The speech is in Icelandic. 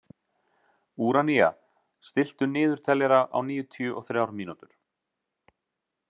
Úranía, stilltu niðurteljara á níutíu og þrjár mínútur.